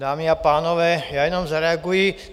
Dámy a pánové, já jenom zareaguji.